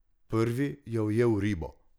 Prvi je ujel ribo.